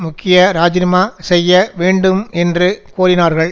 முக்கிய இராஜிநாமா செய்ய வேண்டும் என்று கோரினார்கள்